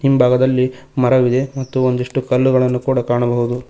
ಹಿಂಭಾಗದಲ್ಲಿ ಮರವಿದೆ ಮತ್ತು ಒಂದಿಷ್ಟು ಕಲ್ಲುಗಳನ್ನು ಕೂಡ ಕಾಣಬಹುದು.